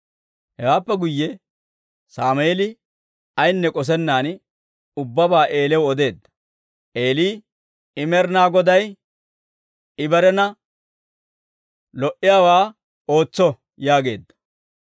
Hewaappe guyye Sammeeli ayinne k'osennan ubbabaa Eeliyaw odeedda. Eeli, «I Med'inaa Goday; I barena lo"owaa ootso» yaageedda.